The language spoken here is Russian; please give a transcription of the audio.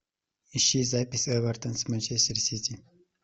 ищи запись эвертон с манчестер сити